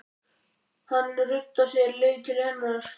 Hann ruddi sér leið til hennar.